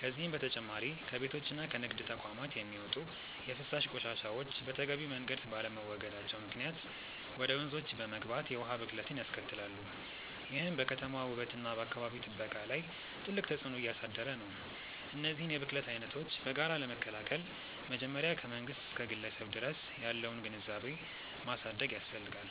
ከዚህም በተጨማሪ ከቤቶችና ከንግድ ተቋማት የሚወጡ የፍሳሽ ቆሻሻዎች በተገቢው መንገድ ባለመወገዳቸው ምክንያት ወደ ወንዞች በመግባት የውሃ ብክለትን ያስከትላሉ፤ ይህም በከተማዋ ውበትና በአካባቢ ጥበቃ ላይ ትልቅ ተጽዕኖ እያሳደረ ነው። እነዚህን የብክለት አይነቶች በጋራ ለመከላከል መጀመሪያ ከመንግስት እስከ ግለሰብ ድረስ ያለውን ግንዛቤ ማሳደግ ያስፈልጋል።